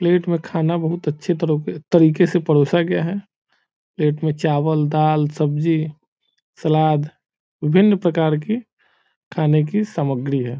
Plate में खाना बहुत अच्छी तरीके से परोसा गया है प्लेट में चावल दाल सब्जी सलाद विभिन्न प्रकार की खाने की सामग्री है।